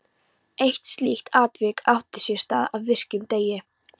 Eitt slíkt atvik átti sér stað á virkum degi.